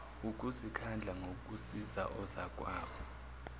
ukuzikhandla ngokusiza ozakwabo